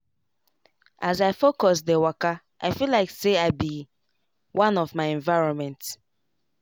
as i focus dey wakai feel like say i be one with my environment.